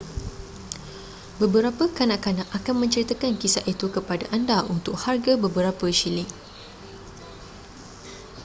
beberapa kanak-kanak akan menceritakan kisah itu kepada anda untuk harga beberapa syiling